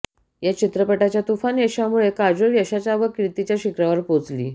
ह्या चित्रपटाच्या तुफान यशामुळे काजोल यशाच्या व कीर्तीच्या शिखरावर पोचली